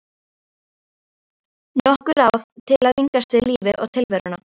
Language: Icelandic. Nokkur ráð til að vingast við lífið og tilveruna.